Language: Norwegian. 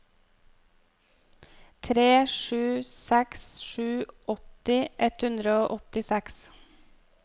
tre sju seks sju åtti ett hundre og åttiseks